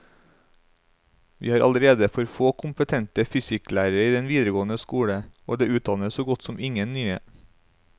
Vi har allerede for få kompetente fysikklærere i den videregående skole, og det utdannes så godt som ingen nye.